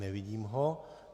Nevidím ho.